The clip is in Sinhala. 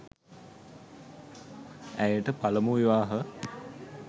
ඇයට පළමු විවාහ